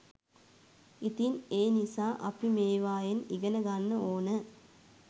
ඉතින් ඒ නිසා අපි මේවායෙන් ඉගෙන ගන්න ඕන